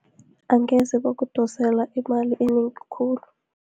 Angeze bakudosela imali enengi khulu.